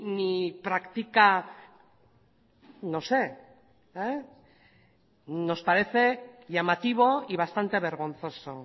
ni practica nos parece llamativo y bastante vergonzoso